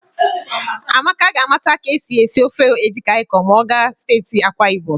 Amaka ga-amụta ka e si esi ofe edikaịkọn ma ọ gaa steeti Akwaịbọm.